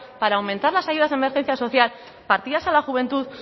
para aumentar las ayudas de emergencia social partidas a la juventud